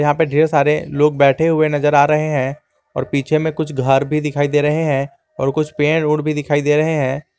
यहां पे ढेर सारे लोग बैठे हुए नजर आ रहे हैं और पीछे में कुछ घर भी दिखाई दे रहे हैं और कुछ पेड़ ओड़ भी दिखाई दे रहे हैं।